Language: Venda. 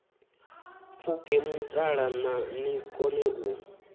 pfuke mutala ni kone u